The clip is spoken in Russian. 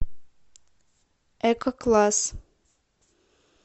эко класс